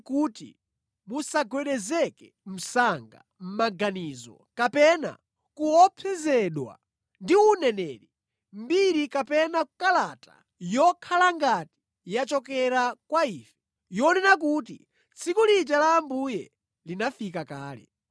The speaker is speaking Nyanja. kuti musagwedezeke msanga mʼmaganizo kapena kuopsezedwa ndi uneneri, mbiri kapena kalata yokhala ngati yachokera kwa ife, yonena kuti tsiku lija la Ambuye linafika kale.